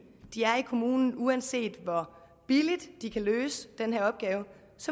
kommunen uanset hvor billigt de kan løse den her opgave